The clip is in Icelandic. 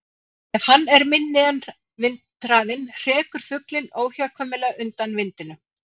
Ef hann er minni en vindhraðinn hrekur fuglinn óhjákvæmilega undan vindinum.